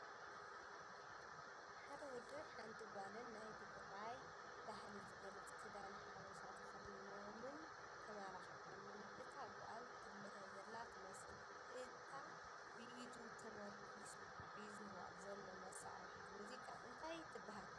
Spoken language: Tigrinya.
ሓደ ወድን ሓንቲ ጓልን ናይ ትግራይ ባህሊ ዝገልፅ ክዳን ሓበሻ ተኸዲኖም ን ተመላኺዖምን እታ ጓል ትለሀ ዘላ ትመስል፡ እታ ብዒዱ ተሞርኪዙ ሒዝዋ ዘሎ መሳርሒት ሙዚቓ እንታይ ትበሃል ?